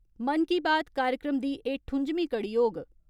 मन की बात ' कार्यक्रम दी एह् ठुजमीं कड़ी होग।